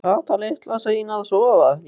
Var Kata litla sein að sofna?